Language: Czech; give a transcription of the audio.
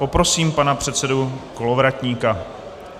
Poprosím pana předsedu Kolovratníka.